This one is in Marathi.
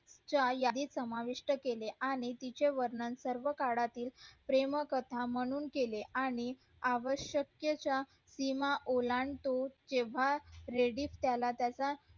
याही समाविष्ट केले आणि तिच्या वर्णन सर्व काळातील प्रेमकथा म्हणून केले आणि आवशक्य च्या सीमा ओलांडून केव्हा ladies त्याला त्याचा